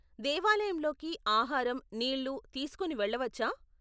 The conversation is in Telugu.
దేవాలయంలోకి ఆహారం, నీళ్లు తీసుకుని వెళ్లవచ్చా ?